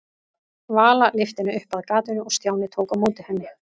Vala lyfti henni upp að gatinu og Stjáni tók á móti henni.